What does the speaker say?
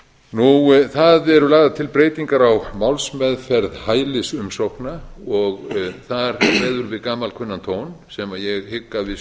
tengsla það eru lagðar til breytingar á málsmeðferð hælisumsókna og þar kveður við gamalkunnan tón sem ég hygg að við séum